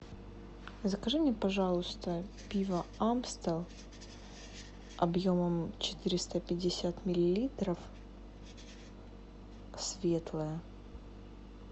закажи мне пожалуйста пиво амстел объемом четыреста пятьдесят миллилитров светлое